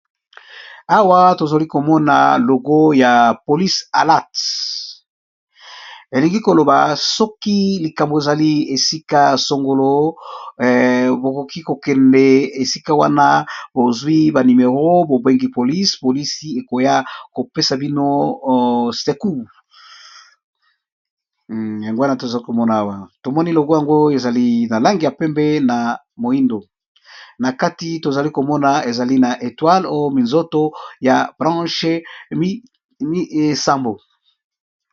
Awa, tozali komona logo ya polise alert. Elingi koloba, soki likambo ezali esika ya sangolo; bokoki kokende esika wana bozwi ba nimero bobengi polisi, polisi ekoya kopesa bino secours. Yango wana, tozali komona awa logo yango ezali na langi ya pembe, na moindo ; na kati tozali komona ezali na etoile to minzoto ya branche sambo,